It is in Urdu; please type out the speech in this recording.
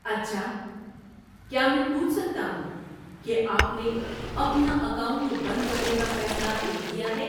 اچھا! کیا میں پوچھ سکتا ہوں کہ آپ نے اپنا اکاؤنٹ بند کرنے کا فیصلہ کیوں کیا ہے۔